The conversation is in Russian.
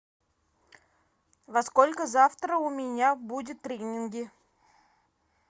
во сколько завтра у меня будут тренинги